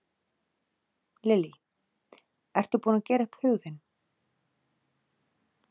Lillý: Ertu búin að gera upp hug þinn?